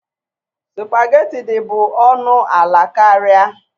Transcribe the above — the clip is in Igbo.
Sụpagheti dị bụ ọnụ ala karịa.